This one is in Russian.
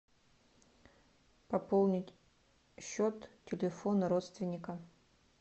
пополнить счет телефона родственника